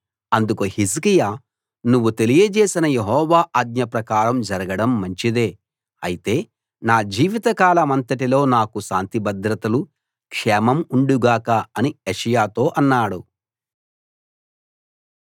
అందుకు హిజ్కియా నువ్వు తెలియజేసిన యెహోవా ఆజ్ఞ ప్రకారం జరగడం మంచిదే అయితే నా జీవితకాలమంతటిలో నాకు శాంతిభద్రతలు క్షేమం ఉండు గాక అని యెషయాతో అన్నాడు